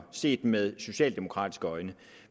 set med socialdemokratiske øjne